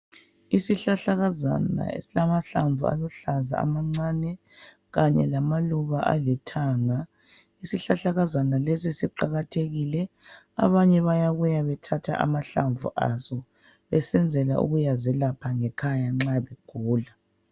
Isihlahlakazana esilamahlamvu aluhlaza amancane kanye lamaluba alithanga. Isihlahlakazana lesi siqakathekile. Abanye bayabuya bethatha amahlamvu aso besenzela ukuyazelapha ngekhaya nxa begula.